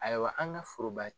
Ayiwa an ka forobaa